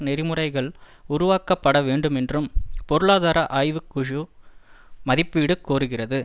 நெறிமுறைகள் உருவாக்கப்பட வேண்டுமென்றும் பொருளாதார ஆய்வு குழு மதிப்பீடு கோருகிறது